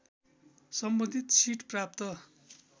सम्बन्धित सिट प्राप्त